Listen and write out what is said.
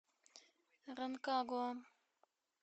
ранкагуа